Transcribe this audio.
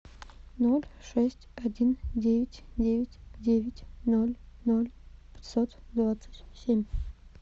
ноль шесть один девять девять девять ноль ноль пятьсот двадцать семь